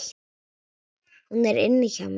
Hún er inni hjá mér.